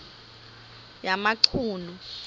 yamachunu